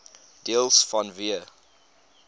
deels vanweë